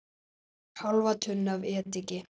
Hálfa tunnu af ediki.